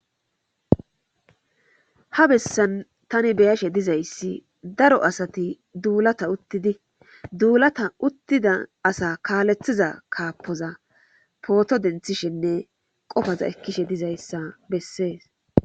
ha bessan tani beyashe dizayssi daro asati duulata uttidi duulata uttida asa kaalethiza kaappoza pooto denthishenne qofaza ekkishe dizayssa bessees